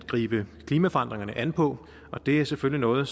gribe klimaforandringerne an på og det er selvfølgelig noget